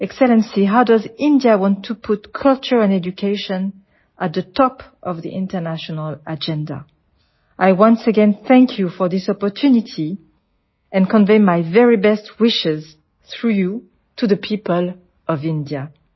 excellency how does India want to put culture and education at the top of the international agenda I once again thank you for this opportunity and convey my very best wishes through you to the people of India